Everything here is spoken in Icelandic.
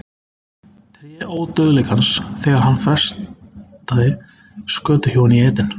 Tré Ódauðleikans þegar hann freistaði skötuhjúanna í Eden